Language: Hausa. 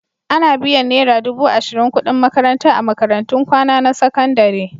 Ana biyan naira dubu ashirin kuɗin makaranta a makarantun kwana na sakandare.